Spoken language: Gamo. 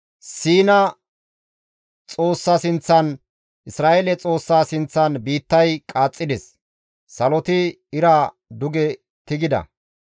Siina Xoossa sinththan, Isra7eele Xoossa sinththan biittay qaaxxides; saloti ira duge tigida.